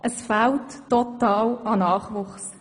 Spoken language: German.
Es fehlt an Nachwuchs.